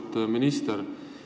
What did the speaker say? Auväärt minister!